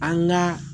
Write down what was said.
An ka